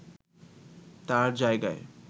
তাঁর জায়গা